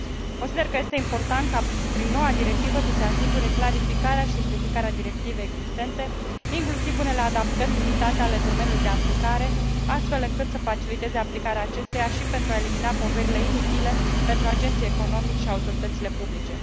Consider că este important ca, prin noua directivă, să se asigure clarificarea și simplificarea directivei existente, inclusiv unele adaptări limitate ale domeniului de aplicare, astfel încât să faciliteze aplicarea acesteia și pentru a elimina poverile inutile pentru agenții economici și autoritățile publice.